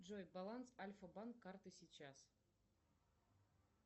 джой баланс альфа банк карты сейчас